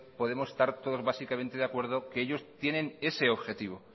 podemos estar todos básicamente de acuerdo que ellos tienen ese objetivo